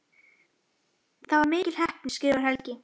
Það var mikil heppni skrifar Helgi.